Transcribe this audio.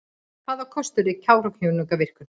Hvaða kostur er Kárahnjúkavirkjun?